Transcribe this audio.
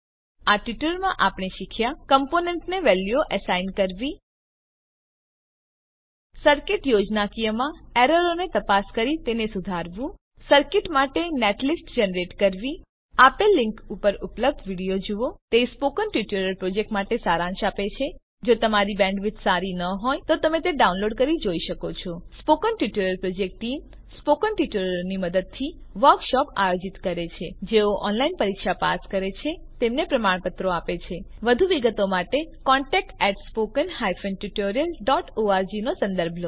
આ ટ્યુટોરીયલમાં આપણે શીખ્યા કમ્પોનેન્ટને વેલ્યુઓ એસાઈન કરવી સીર્કિત યોજનાકીયમાં એરરોને તપાસ કરી તેને સુધારવું સર્કીટ માટે નેટલિસ્ટ જનરેટ કરવી આપેલ લીંક પર ઉપલબ્ધ વિડીઓ જુઓ તે સ્પોકન ટ્યુટોરીયલ પ્રોજેક્ટનો સારાંશ આપે છે જો તમારી બેન્ડવિડ્થ સારી ન હોય તો તમે ડાઉનલોડ કરી તે જોઈ શકો છો spoken tutorial project team spoken ટ્યુટોરીયલોનાં મદદથી વર્કશોપોનું આયોજન કરે છે જેઓ ઓનલાઈન પરીક્ષા પાસ કરે છે તેમને પ્રમાણપત્રો આપે છે વધુ વિગત માટે કૃપા કરી contactspoken tutorialorg નો સંદર્ભ લો